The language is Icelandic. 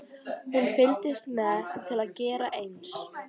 Hún fylgdist með til að gera eins.